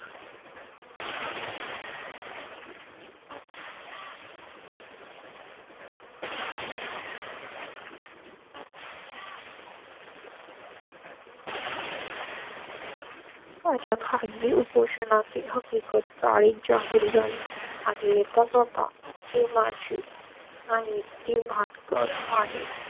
अच्छा खाली उपोषणा ची हकीकत चाळींची आहे झाली आणि येतच होता की माझी आणि ती महान कड आहे.